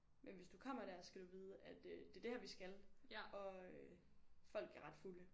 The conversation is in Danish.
Men hvis du kommer dér skal du vide at øh det det her vi skal og øh folk er ret fulde